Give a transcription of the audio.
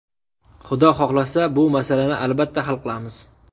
Xudo xohlasa, bu masalani albatta hal qilamiz.